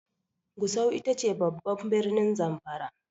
Gusau ita ce babban birnin Zamfara.